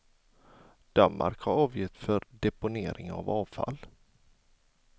Danmark har avgifter för deponering av avfall.